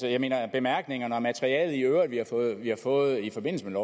bemærkningerne og materiale vi har fået i forbindelse med